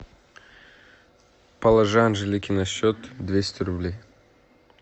положи анжелике на счет двести рублей